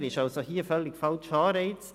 Hier ist dies ein völlig falscher Anreiz.